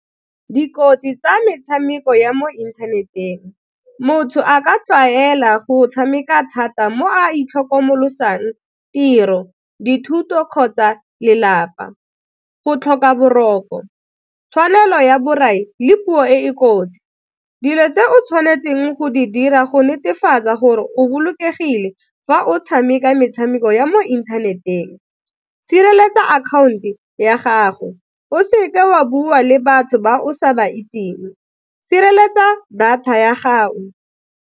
Dikotsi tsa metshameko ya mo inthaneteng, motho a ka tlwaela go tshameka thata mo a itlhokomolosang tiro, dithuto kgotsa lelapa, go tlhoka boroko, tshwanelo ya borai le puo e e kotsi. Dilo tse o tshwanetseng go di dira go netefatsa gore o bolokegile fa o tshameka metshameko ya mo inthaneteng, sireletsa account-o ya gago, o seke wa bua le batho ba o sa ba itseng, sireletsa data ya gago.